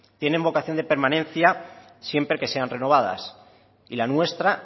tienen vocación de permanencia siempre que sean renovadas y la nuestra